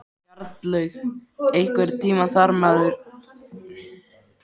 Bjarnlaug, einhvern tímann þarf allt að taka enda.